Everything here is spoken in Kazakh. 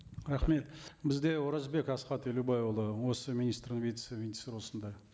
рахмет бізде оразбек асхат елубайұлы осы министр осында